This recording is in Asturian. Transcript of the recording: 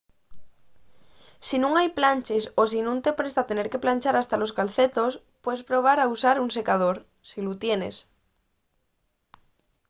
si nun hai planches o si nun te presta tener que planchar hasta los calcetos puedes probar a usar un secador si lu tienes